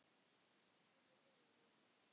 SKÚLI: Vinir mínir!